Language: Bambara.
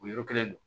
O yɔrɔ kelen do